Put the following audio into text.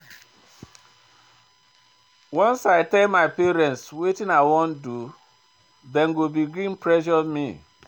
Once I tell my family wetin I wan do, dem go begin pressure me.